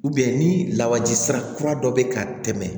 ni lawaji sira kura dɔ bɛ ka tɛmɛ